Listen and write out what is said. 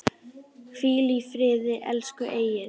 Hvíl í friði, elsku Egill.